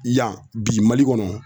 Yan bi Mali kɔnɔ